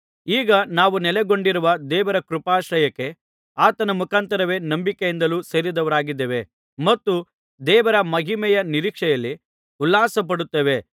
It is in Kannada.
ಈಗ ನಾವು ನೆಲೆಗೊಂಡಿರುವ ದೇವರ ಕೃಪಾಶ್ರಯಕ್ಕೆ ಆತನ ಮುಖಾಂತರವೇ ನಂಬಿಕೆಯಿಂದ ಸೇರಿದವರಾಗಿದ್ದೇವೆ ಮತ್ತು ದೇವರ ಮಹಿಮೆಯ ನಿರೀಕ್ಷೆಯಲ್ಲಿ ಉಲ್ಲಾಸಪಡುತ್ತೇವೆ